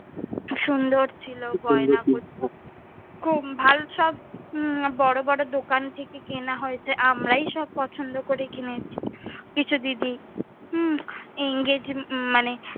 খুব সুন্দর ছিলো গয়না গুলো। খুব ভাল সব বড় বড় দোকান থেকে কেনা হয়ে ছিলো। আমরাই সব পছন্দ করে কিনেছি। কিছু দিদি উম engage মানে,